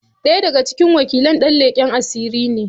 Ɗaya daga cikin wakilan dan leken asiri ne.